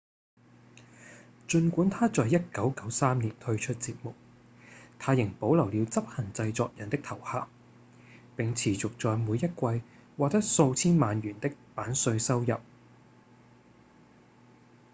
儘管他在1993年退出節目他仍保留了執行製作人的頭銜並持續在每一季獲得數千萬元的版稅收入